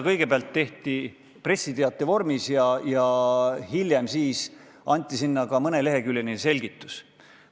Kõigepealt tehti pressiteade ja hiljem lisati ka mõneleheküljeline selgitus.